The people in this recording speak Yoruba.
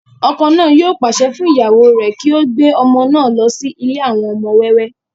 ọkọ náà yóò pàṣẹ fún ìyàwó rẹ̀ kí ó gbé ọmọ náà lọ sí ilé àwọn ọmọ wẹ́wẹ́